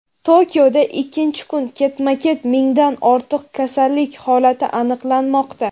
Tokioda ikkinchi kun ketma-ket mingdan ortiq kasallik holati aniqlanmoqda.